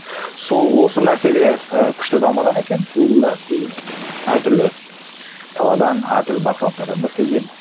сол осы мәселе і күшті дамыған екен гуглда әртүрлі саладан әртүрлі адамдар келген